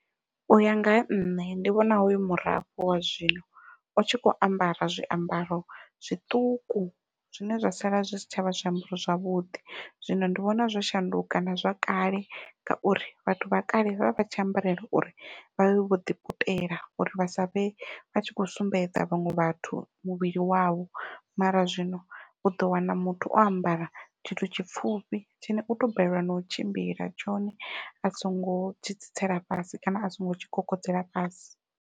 Uya nga ha nṋe ndi vhona hoyu murafho wa zwino u tshi kho ambara zwiambaro zwiṱuku zwine zwa sala zwi si tshavha zwiambaro zwavhuḓi. Zwino ndi vhona zwo shanduka na zwa kale ngauri vhathu vha kale vhavha vha tshi ambarela uri vha vhe vho ḓi putela uri vha savhe vha tshi kho sumbedza vhaṅwe vhathu muvhili wavho mara zwino uḓo wana muthu o ambara tshithu tshipfhufhi tshine u to balelwa nau tshimbila tshone a songo tshi tsitsela fhasi kana a songo tshi kokodzela fhasi.